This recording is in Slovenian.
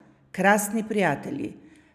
Krasni prijatelji!